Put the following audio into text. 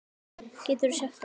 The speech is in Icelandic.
Geturðu sagt okkur?